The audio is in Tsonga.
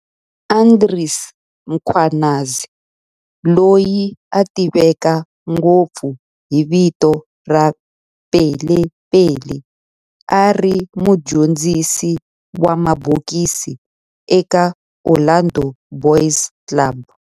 Andries Mkhwanazi, loyi a tiveka ngopfu hi vito ra Pele Pele, a ri mudyondzisi wa mabokisi eka Orlando Boys Club.